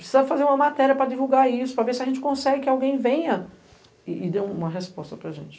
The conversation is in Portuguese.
Precisamos fazer uma matéria para divulgar isso, para ver se a gente consegue que alguém venha e dê uma resposta para gente.